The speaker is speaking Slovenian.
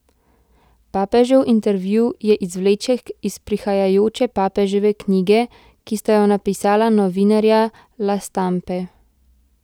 Papežev intervju je izvleček iz prihajajoče papeževe knjige, ki sta jo napisala novinarja La Stampe.